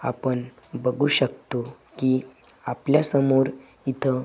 आपण बघू शकतो की आपल्या समोर इथं--